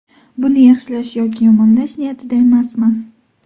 Buni yaxshilash yoki yomonlash niyatida emasman.